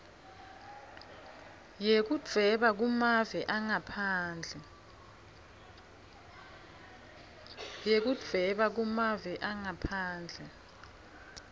yekudvweba kumave angaphandle